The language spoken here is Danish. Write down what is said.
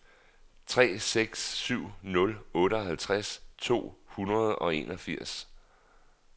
tre seks syv nul otteoghalvtreds to hundrede og enogfirs